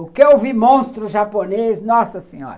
O que eu vi monstro japonês, nossa senhora!